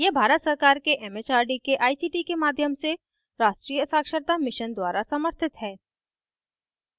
यह भारत सरकार के it it आर डी के आई सी टी के माध्यम से राष्ट्रीय साक्षरता mission द्वारा समर्थित है